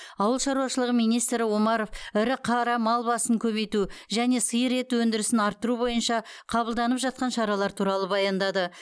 ауыл шаруашылығы министрі с омаров ірі қара мал басын көбейту және сиыр еті өндірісін арттыру бойынша қабылданып жатқан шаралар туралы баяндады